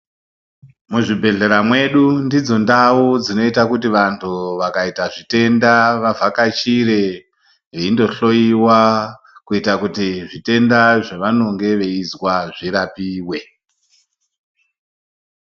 Muzvibhedhlera mwedu ndidzo ndau dzinoita kuti vantu vakaita zvitenda vavhakachire veindohloyiwa kuita kuti zvitenda zvavanonge veizwa zvirapiwe.